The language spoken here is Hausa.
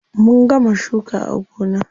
Mun gama shuka a gona.